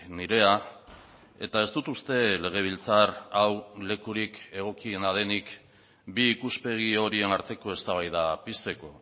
nirea eta ez dut uste legebiltzar hau lekurik egokiena denik bi ikuspegi horien arteko eztabaida pizteko